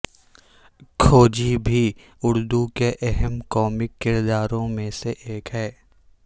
کھوجی بھی اردو کے اہم کومک کرداروں میں سے ایک ہے